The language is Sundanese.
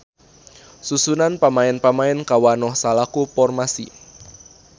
Susunan pamaen-pamaen kawanoh salaku formasi.